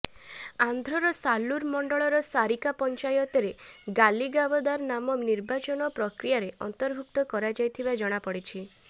ଆନ୍ଧ୍ରର ସାଲୁର ମଣ୍ଡଳର ସାରିକା ପଂଚାୟତରେ ଗାଲିଗାବଦାର ନାମ ନିର୍ବାଚନ ପ୍ରକ୍ରୀୟାରେ ଅନ୍ତର୍ଭୁକ୍ତ କରାଯାଇଥିବା ଜଣାପଡିଛି